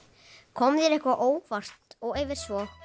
kom þér eitthvað á óvart og ef svo